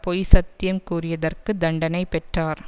பொய்சத்தியம் கூறியதற்கு தண்டனை பெற்றார்